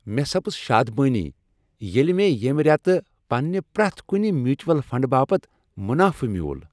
مےٚ سپز شادمٲنی ییٚلہ مےٚ ییٚمہ ریتہٕ پنٛنہ پرٛیتھ کنہ میوچول فنڈٕ باپت منافہ میُول۔